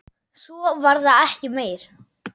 Svo var það ekki meir.